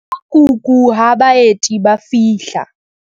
Phuthulla kuku ha baeti ba fihla.